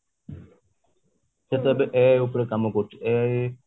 ସେ ତ ଏବେ ai ଉପରେ କାମ କରୁଛି ai